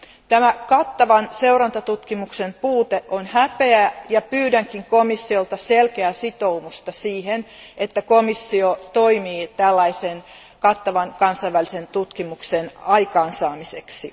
Tämä kattavan seurantatutkimuksen puute on häpeä, ja pyydänkin komissiolta selkeää sitoumusta siihen, että komissio toimii tällaisen kattavan kansainvälisen tutkimuksen aikaansaamiseksi.